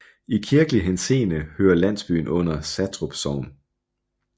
I kirkelig henseende hører landsbyen under Satrup Sogn